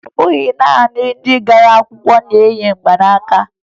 Ọ bụghị naanị ndị gbara akwụkwọ na-eyi mgbanaaka